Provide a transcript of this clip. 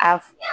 A f